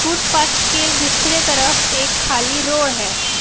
Footpath के दूसरे तरफ एक खाली रोड है।